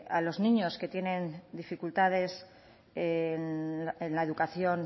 a los niños que tienen dificultades en la educación